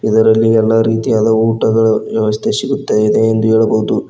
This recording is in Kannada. ಇದರಲ್ಲಿ ಎಲ್ಲಾ ರೀತಿಯಾದ ಊಟಗಳ ವ್ಯವಸ್ಥೆ ಸಿಗುತ್ತದೆ ಎಂದು ಹೇಳಬಹುದು.